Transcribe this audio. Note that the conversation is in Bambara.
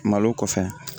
Malo kɔfɛ